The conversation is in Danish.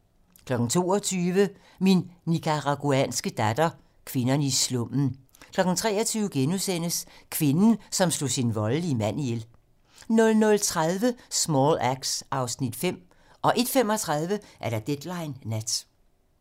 22:00: Min nicaraguanske datter - Kvinderne i slummen 23:00: Kvinden, som slog sin voldelige mand ihjel * 00:30: Small Axe (Afs. 5) 01:35: Deadline nat